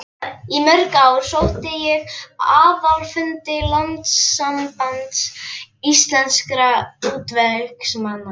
Í mörg ár sótti ég aðalfundi Landssambands íslenskra útvegsmanna.